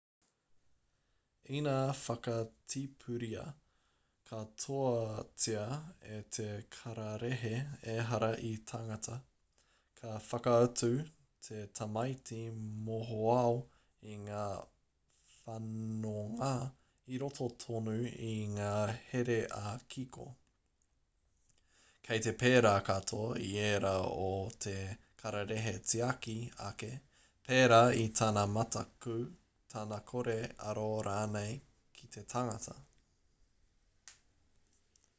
ina whakatipuria katoatia e te kararehe ehara i te tangata ka whakaatu te tamaiti mohoao i ngā whanonga i roto tonu i ngā here ā-kiko kei te pērā katoa i ērā o te kararehe-tiaki ake pērā i tana mataku tana kore aro rānei ki te tangata